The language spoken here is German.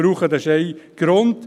Das ist der eine Grund.